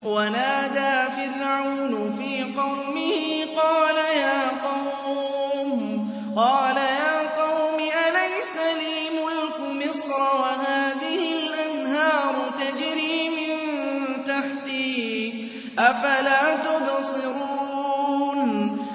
وَنَادَىٰ فِرْعَوْنُ فِي قَوْمِهِ قَالَ يَا قَوْمِ أَلَيْسَ لِي مُلْكُ مِصْرَ وَهَٰذِهِ الْأَنْهَارُ تَجْرِي مِن تَحْتِي ۖ أَفَلَا تُبْصِرُونَ